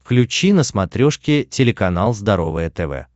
включи на смотрешке телеканал здоровое тв